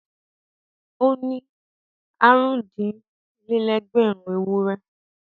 Ó ní àrùn-dín-okòó-lé-ẹgbẹ̀rún ewúrẹ́.